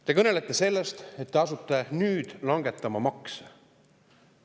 Te kõnelete sellest, et te asute nüüd langetama makse.